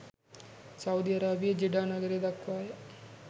Saudi අරාබියේ Jeddah නගරය දක්වාය